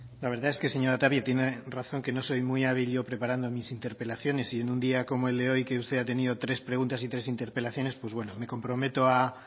la verdad es que señora tapia tiene razón que no soy muy hábil yo preparando mis interpelaciones y en un día como el de hoy que usted ha tenido tres preguntas y tres interpelaciones pues bueno me comprometo a